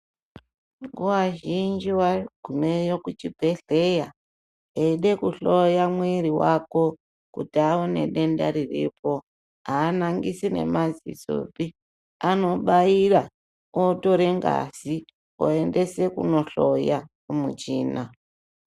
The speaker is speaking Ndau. Nguva zhinji vagumeyo kuchibhedhlera eida kuhloya mwiri vako kuti aone denda riripo. Haanangisi nemazisopi anobaira otore ngazi oendese kunohloya kumuchina.